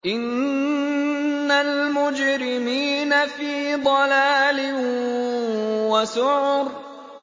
إِنَّ الْمُجْرِمِينَ فِي ضَلَالٍ وَسُعُرٍ